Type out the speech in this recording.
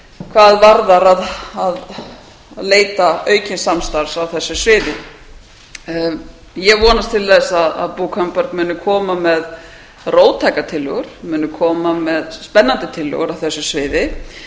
hvað varðar að leita aukins samstarfs á þessu sviði ég vonast til þess að bo thunberg muni koma með róttækar tillögur muni koma með spennandi tillögur á þessu sviði